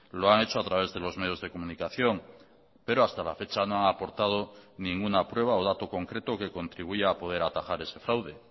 lo han hecho a través de los medios de comunicación pero hasta la fecha no han aportado ninguna prueba o dato concreto que contribuya a poder atajar ese fraude